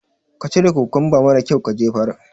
ka cire kukumba mara kyaun ka jefar.